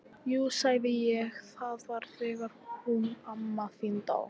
Jú sagði ég, það var þegar hún amma þín dó